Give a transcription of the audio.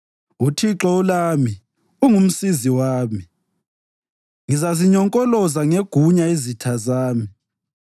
UThixo ulami; ungumsizi wami. Ngizazinyonkoloza ngegunya izitha zami.